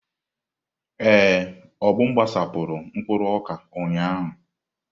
Ee, Obum gbasapụrụ mkpụrụ ọka ụnyahụ.